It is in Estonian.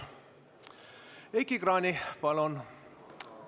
Heiki Kranich, palun!